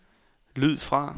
lyd fra